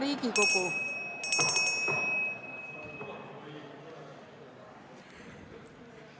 Hea Riigikogu!